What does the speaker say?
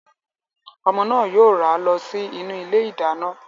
Ọmọ náà yóò rá lọ sí inú ilé ìdáná.